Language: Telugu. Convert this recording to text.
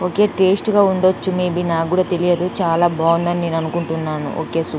ఓకే టేస్ట్ గా ఉండొచ్చు మేబీ నాక్కూడా తెలియదు చాలా బాగుంది అని నేను అనుకుంటున్నాను ఓకే సూ --